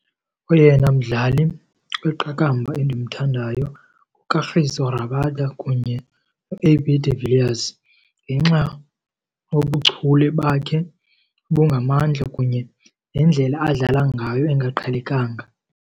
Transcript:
Oyena mdlali kwiqakamba endimthandayo nguKagiso Rabada kunye noA_B de Villiers ngenxa yobuchule bakhe obungamandla kunye nendlela adlala ngayo engaqhelekanga.